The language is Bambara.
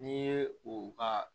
N'i ye o ka